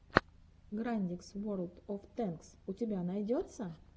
грандикс ворлд оф тэнкс у тебя найдется